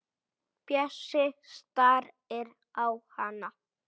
Bjössi starir á hana.